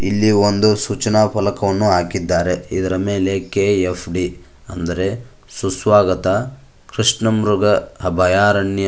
ಇಲ್ಲಿ ಒಂದು ಸೂಚನಾ ಫಲಕವನ್ನು ಹಾಕಿದ್ದಾರೆ ಇದರ ಮೇಲೆ ಕೆ_ಎಫ್_ಡಿ ಅಂದರೆ ಸುಸ್ವಾಗತ ಕೃಷ್ಣ ಮೃಗ ಅಭಯಾರಣ್ಯ--